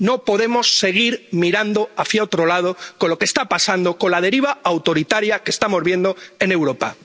No podemos seguir mirando hacia otro lado, con lo que está pasando, con la deriva autoritaria que estamos viendo en Europa.